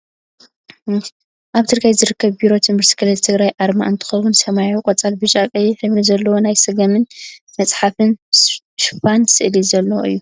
ኣብ ትግራይ ዝርከብ ቢሮ ትምህርቲ ክልል ትግራይ ኣርማ እንትከውን፣ ሰሚያዊን ቆፃል፣ ብጫ፣ ቀይሕ ሕብሪ ዘለዎ ናይ ስገምን መፅሓፍን ሽፖን ስእሊ ዘለዎ እዩ።